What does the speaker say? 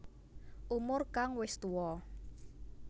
Umur kang wis tuwa